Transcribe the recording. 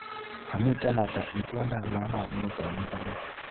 Kamitee ata itondap lalang'iet eng mbaret.